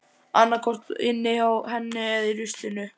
Annaðhvort inni hjá henni eða í ruslinu.